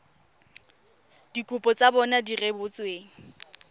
dikopo tsa bona di rebotsweng